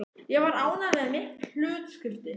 Ég var ánægð með mitt hlutskipti.